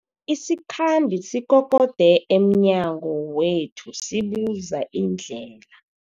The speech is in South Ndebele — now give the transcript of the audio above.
Isikhambi sikokode emnyango wethu sibuza indlela.